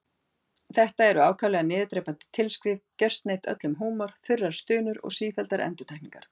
Þetta eru ákaflega niðurdrepandi tilskrif, gjörsneydd öllum húmor, þurrar stunur og sífelldar endurtekningar.